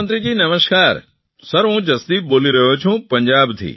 પ્રધાનમંત્રીશ્રી નમસ્કાર સર હું જસદીપ બોલી રહ્યો છું